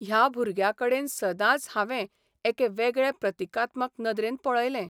ह्या भुरग्याकडेन सदांच हांवें एके वेगळे प्रतिकात्मक नदरेन पळयलें.